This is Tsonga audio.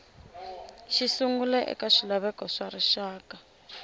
xisungla eka swilaveko swa rixaka